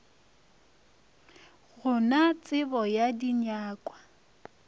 go na tsebo ya dinyakwa